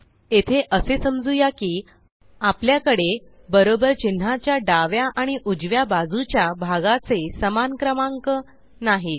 येथे असे समजूया की आपल्याकडे बरोबर चिन्हाच्या डाव्या आणि उजव्या बाजूच्या भागाचे समान क्रमांक नाहीत